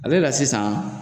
Ale la sisan